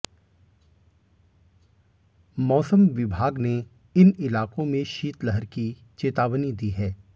मौसम विभाग ने इन इलाकों में शीतलहर की चेतावनी दी है